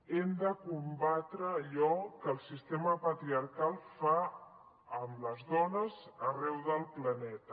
hem de combatre allò que el sistema patriarcal fa amb les dones arreu del planeta